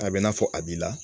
A bɛ n'a fɔ a b'i la